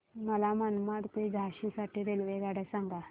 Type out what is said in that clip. मला मनमाड ते झाशी साठी रेल्वेगाड्या सांगा